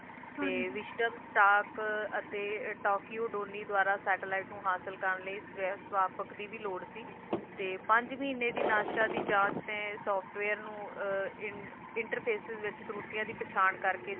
ਤੇ ਵਿਸ਼ਟਨ ਤੱਕ ਅਤੇ tokyo ਦੋਨੀ ਦੁਆਰਾ Satellite ਨੂੰ ਹਾਸਿਲ ਕਰਨ ਲਈ ਸਵਾਪਕ ਦੀ ਵੀ ਲੋੜ ਸੀ ਤੇ ਪੰਜ ਮਹੀਨੇ ਦੀ ਨਾਸਾ ਦੀ ਜਾਚ ਦੇ Software ਨੂੰ Interface ਦੀ ਕੁਰੀਤੀਆਂ ਦੀ ਪਹਿਚਾਣ ਕਰਕੇ